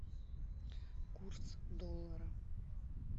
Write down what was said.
курс доллара